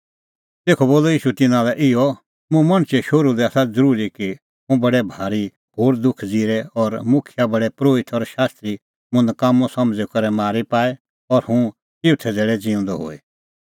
तेखअ बोलअ ईशू तिन्नां लै इहअ मुंह मणछे शोहरू लै आसा ज़रूरी की हुंह बडै भारी घोर दुख ज़िरे और मुखियै प्रधान परोहित और शास्त्री मुंह नकाम्मअ समझ़ी करै मारी पाए और हुंह चिऊथै धैल़ै ज़िऊंदअ होए